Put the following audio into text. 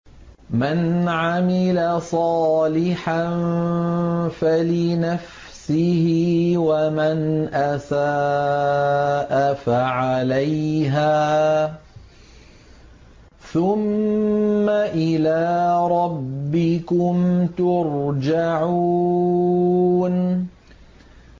مَنْ عَمِلَ صَالِحًا فَلِنَفْسِهِ ۖ وَمَنْ أَسَاءَ فَعَلَيْهَا ۖ ثُمَّ إِلَىٰ رَبِّكُمْ تُرْجَعُونَ